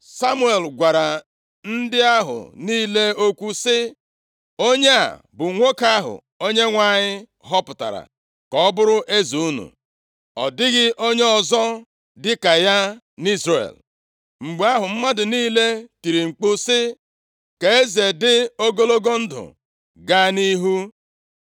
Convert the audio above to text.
Samuel gwara ndị ahụ niile okwu sị, “Onye a bụ nwoke ahụ Onyenwe anyị họpụtara ka ọ bụrụ eze unu. Ọ dịghị onye ọzọ dịka ya nʼIzrel!” Mgbe ahụ, mmadụ niile tiri mkpu sị, “Ka eze dị ogologo ndụ gaa nʼihu!”